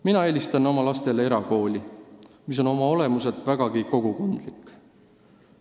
Mina eelistan, et minu lapsed õpivad erakoolis, mis on oma olemuselt vägagi kogukondlik.